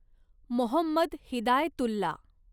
Mohammed Hidayatullah